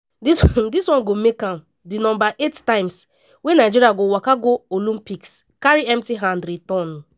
dis one make am di number eight times wey nigeria go waka go olympics carry empty hand return.